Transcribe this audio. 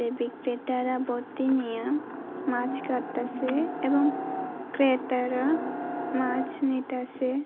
বিক্রেটারা বোঁতি নিয়া মাছ কাঁটতাসে এবং ক্রেতারা মাছ নিতাসে।